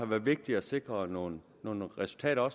været vigtigt at sikre nogle nogle resultater og